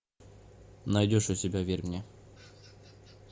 найдешь у себя верь мне